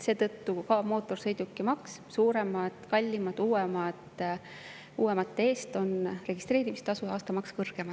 Seetõttu on mootorsõidukimaks suuremate, kallimate, uuemate eest suurem: registreerimistasu ja aastamaks on kõrgem.